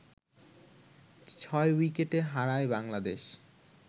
ছয় উইকেটে হারায় বাংলাদেশ